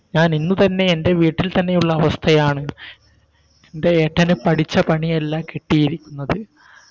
ഞാൻ ഇന്ന് തന്നെ എൻറെ വീട്ടിൽ തന്നെയുള്ള അവസ്ഥയാണ് എൻറെ ഏട്ടന് പഠിച്ച പണിയല്ല കിട്ടിയിരിക്കുന്നത്